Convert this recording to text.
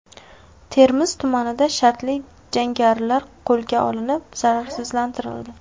Termiz tumanida shartli jangarilar qo‘lga olinib, zararsizlantirildi.